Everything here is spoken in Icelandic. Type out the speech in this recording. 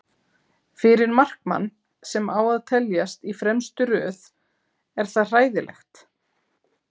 Fyrir markmann sem á að teljast í fremstu röð er það hræðilegt.